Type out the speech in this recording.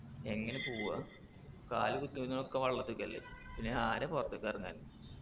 എങ്ങനെ പോവാ കാല് കുത്തുന്ന ഒക്കെ വെള്ളത്തിക്കല്ലേ പിന്നെ ആരാ പൊറത്തിക്കെറങ്ങൽ